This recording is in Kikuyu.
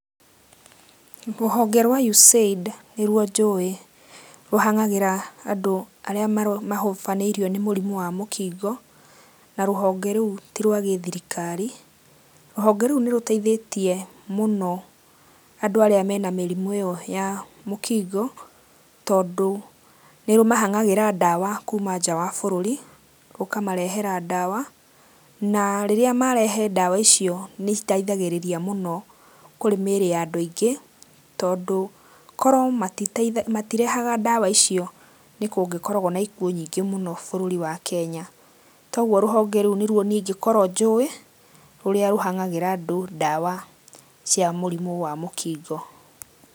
Rũhonge rwa USAID nĩruo njũĩ rũhang'agĩra andũ arĩa mahobanĩirio nĩ mũrimũ wa mũkingo, na rũhonge rũu ti rwa gĩthirikari, rũhonge rũu nĩ rũteithĩtie mũno andũ arĩa mena mĩrimũ ĩyo ya mũkingo tondũ nĩ rũmahang'ĩra dawa kuma nja wa bũrũri rũkamarehera dawa na rĩrĩa marehe dawa icio nĩ citeithagĩrĩria mũno kũrĩ mĩrĩ ya andũ aingĩ, korwo matirehaga dawa icio nĩ kũngĩkoragwo na ikuũ nyingĩ mũno bũrũri wa Kenya, kwoguo rũhonge rũu nĩ ruo niĩ ingĩkorwo njũĩ rũrĩa rũhang'agĩra andũ dawa cia mũkingo.